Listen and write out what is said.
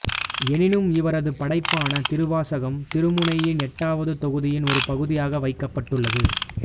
எனினும் இவரது படைப்பான திருவாசகம் திருமுறையின் எட்டாவது தொகுதியின் ஒரு பகுதியாக வைக்கப்பட்டுள்ளது